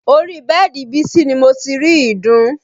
Orí bẹ́ẹ̀dì bísí ni mo ti rí ìdun